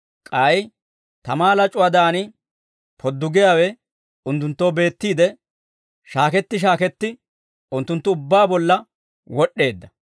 K'ay tamaa lac'uwaadan poddugiyaawe unttunttoo beettiide, shaaketti shaaketti, unttunttu ubbaa bolla wod'd'eedda.